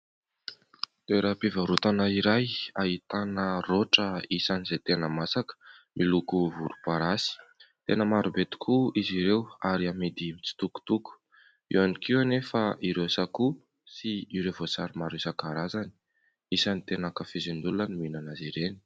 Toeram-pivarotana iray izay ahitana rotra isan'izay tena masaka miloko volomparasy. Tena maro be tokoa izy ireo ary amidy mitsitokotoko. Eo ihany koa anefa ireo sakoa sy ireo voasary maro isan-karazany. Isan'ny tena ankafizin'ny olona ny mihinana azy ireny.